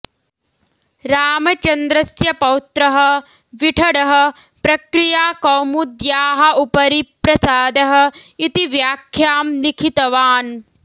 रामचन्द्रस्य पौत्रः विठळः प्रक्रियाकौमुद्याः उपरि प्रसादः इति व्याख्यां लिखितवान्